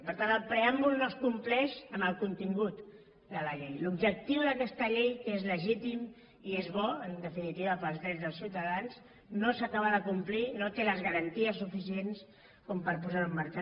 per tant el preàmbul no es compleix en el contingut de la llei l’objectiu d’aquesta llei que és legítim i és bo en definitiva per als drets dels ciutadans no s’acaba de complir no té les garanties suficients per posar ho en marxa